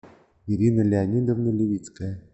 ирина леонидовна левицкая